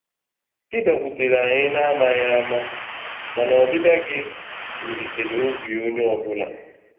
ị bịakwutere anyi na amaghị ama mana ọbịbịa gi wulitere obi onye ọbụla